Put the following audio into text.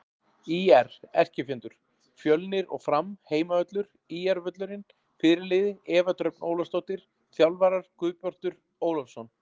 ÍR: Erkifjendur: Fjölnir og Fram Heimavöllur: ÍR-völlurinn Fyrirliði: Eva Dröfn Ólafsdóttir Þjálfarar: Guðbjartur Ólafsson